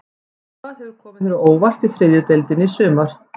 Hvað hefur komið þér á óvart í þriðju deildinni í sumar?